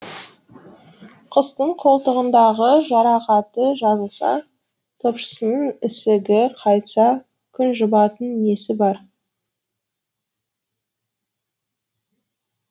құстың қолтығындағы жарақаты жазылса топшысының ісігі қайтса күн жұбатып несі бар